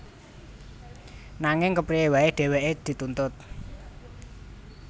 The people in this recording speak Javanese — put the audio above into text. Nanging kepriyé waé dhèwèké dituntut